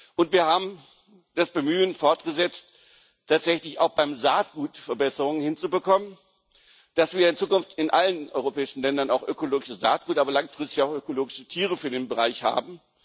Und wir haben das Bemühen fortgesetzt, tatsächlich auch beim Saatgut Verbesserungen hinzubekommen, damit wir in Zukunft in allen europäischen Ländern auch ökologisches Saatgut, aber langfristig auch ökologische Tiere für den Bereich haben.